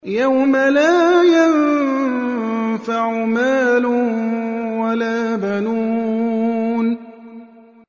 يَوْمَ لَا يَنفَعُ مَالٌ وَلَا بَنُونَ